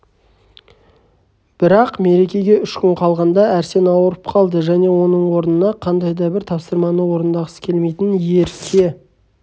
бірақ мерекеге үш күн қалғанда арсен ауырып қалды және оның орнына қандай да бір тапсырманы орындағысы келмейтін ерке